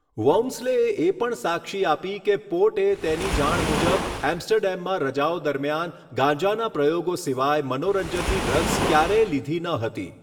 વૌમસ્લેએ એ પણ સાક્ષી આપી કે પોર્ટે તેની જાણ મુજબ એમ્સ્ટરડેમમાં રજાઓ દરમિયાન ગાંજાના પ્રયોગો સિવાય મનોરંજનની ડ્રગ્સ ક્યારેય લીધી ન હતી.